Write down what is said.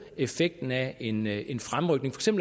effekten af en en fremrykning